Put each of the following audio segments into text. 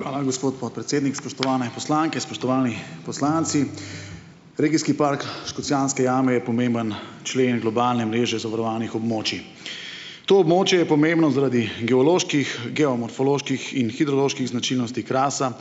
Hvala, gospod podpredsednik. Spoštovane poslanke, spoštovani poslanci. Regijski park Škocjanske jame je pomemben člen globalne mreže zavarovanih območij. To območje je pomembno zaradi geoloških, geomorfoloških in hidroloških značilnosti Krasa,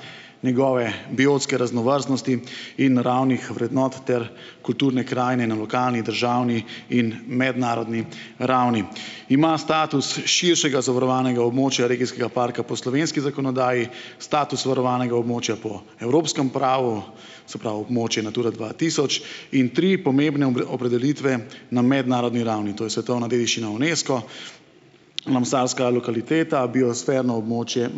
njegove biotske raznovrstnosti in naravnih vrednot ter kulturne krajine na lokalni, državni in mednarodni ravni. Ima status širšega zavarovanega območja regijskega parka po slovenski zakonodaji, status varovanega območja po evropskem pravu, se pravi območje Natura dva tisoč in tri pomembne opredelitve na mednarodni ravni, to je svetovna dediščina Unesco, lokaliteta, biosferno območje.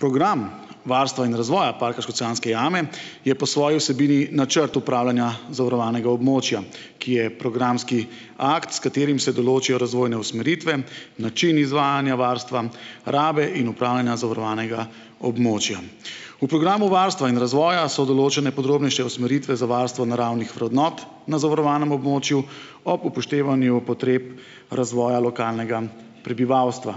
Program varstva in razvoja parka Škocjanske jame je po svoji vsebini načrt upravljanja zavarovanega območja, ki je programski akt, s katerim se določijo razvojne usmeritve, način izvajanja varstva, rabe in upravljanja zavarovanega območja. V programu varstva in razvoja so določene podrobnejše usmeritve za varstvo naravnih vrednot na zavarovanem območju, ob upoštevanju potreb razvoja lokalnega prebivalstva.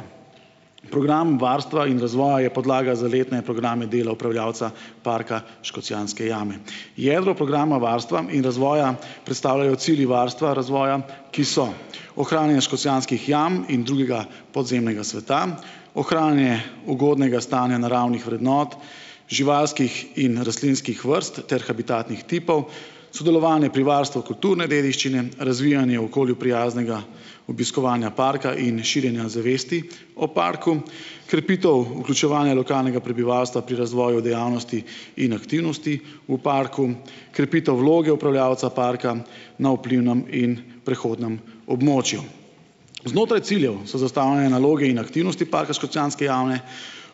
Program varstva in razvoja je podlaga za letne programe dela upravljavca parka Škocjanske jame. Jedro programa varstva in razvoja predstavljajo cilji varstva razvoja, ki so ohranjanje Škocjanskih jam in drugega podzemnega sveta, ohranjanje ugodnega stanja naravnih vrednot, živalskih in rastlinskih vrst ter habitatnih tipov, sodelovanje pri varstvu kulturne dediščine, razvijanje okolju prijaznega obiskovanja parka in širjenja zavesti o parku, krepitev vključevanja lokalnega prebivalstva pri razvoju dejavnosti in aktivnosti v parku, krepitev vloge upravljavca parka na vplivnem in prehodnem območju. Znotraj ciljev so zastavljene naloge in aktivnosti parka Škocjanske jame,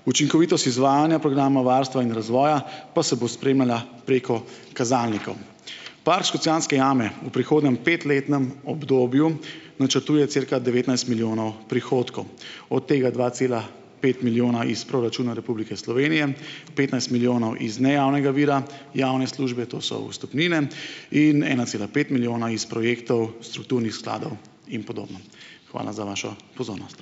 učinkovitost izvajanja programa varstva in razvoja pa se bo spremljala preko kazalnikov. Park Škocjanske jame v prihodnjem petletnem obdobju načrtuje cirka devetnajst milijonov od tega dva cela pet milijona iz proračuna Republike Slovenije, petnajst milijonov iz nejavnega vira javne službe, to so vstopnine, in ena cela pet milijona iz projektov strukturnih skladov in podobno. Hvala za vašo pozornost.